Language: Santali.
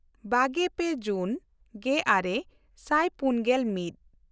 ᱵᱟᱜᱮᱼᱯᱮ ᱡᱩᱱ ᱜᱮᱼᱟᱨᱮ ᱥᱟᱭ ᱯᱩᱱᱜᱮᱞ ᱢᱤᱫ